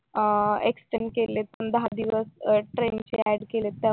अं extend केलेत दहा दिवस ट्रेनिंगचे add केलेत